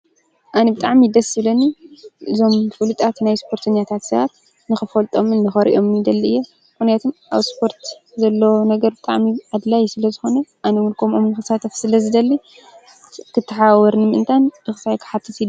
ኣን ብጥዓም ደስ ሥለኒ ዞም ፍሉጣት ናይ ስፖርትኛታት ሥርኣት ንኽፈልጦምን ንኸሪእዮምኒ ደሊ እየ ኲነያትም ኣብ ስፖርት ዘለ ነገር ብጣሚብ ኣድላይ ስለ ዝኾነ ኣነሙልኮም ኦምኽሳትቶፍ ስለ ዝደሊ ክትሓወርኒ ምእንታን እኽሳይክሓትት ኢዮ።